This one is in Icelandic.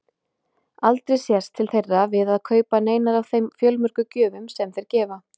Aldrei sést til þeirra við að kaupa neinar af þeim fjölmörgu gjöfum sem þeir gefa.